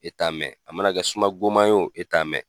E t'a mɛn a mana kɛ suma goma ye o a t'a mɛn.